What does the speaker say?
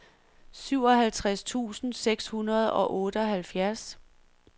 syvoghalvtreds tusind seks hundrede og otteoghalvfjerds